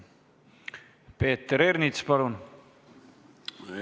Peeter Ernits, palun!